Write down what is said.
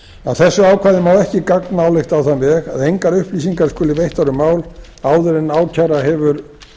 þessu ákvæði má ekki gagnálykta á þann veg að engar upplýsingar skulu veittar um mál áður en ákæra hefur